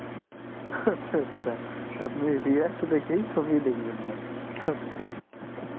আচ্ছা আচ্ছা আপনি react দেখেই ছবি দেখবেন না আচ্ছা